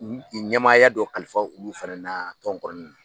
Ɲamaaya dɔ kalifa olu fana na, tɔn kɔnɔna na